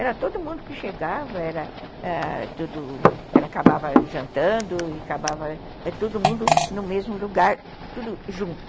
Era todo mundo que chegava, era ãh tudo... acabava jantando e acabava todo mundo no mesmo lugar, tudo junto.